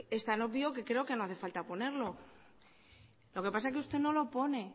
es tan obvio que creo que no hace falta ponerlo lo que pasa que usted no lo pone